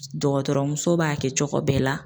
Dɔgɔtɔrɔmuso b'a kɛ cogo bɛɛ la.